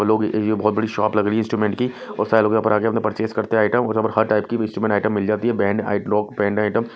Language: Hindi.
और लोग ये बहुत बड़ी शॉप लग रही है इंस्ट्रूमेंट की और सारे लोग यहां पर आ के अपना परचेज करते हैं आइटम और यहां पर हर टाइप की भी इंस्ट्रूमेंट आइटम मिल जाती है आइटम ।